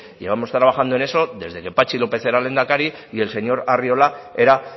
llevamos trabajando en eso desde que patxi lópez era lehendakari y el señor arriola era